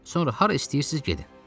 Sonra hara istəyirsiniz, gedin.